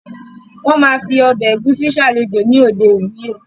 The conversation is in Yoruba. Wọ́n ma fi “ọbẹ̀ ẹ̀gúsí” salajó ní òde ìwúyè